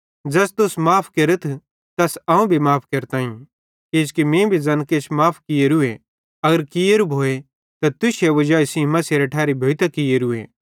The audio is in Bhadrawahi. ज़ैस तुस माफ़ केरतथ तैस अवं भी माफ़ केरताईं किजोकि मीं भी ज़ैन किछ माफ़ कियोरूए अगर कियेरू भोए त तुश्शे वजाई सेइं मसीहेरे ठैरी भोइतां कियोरूए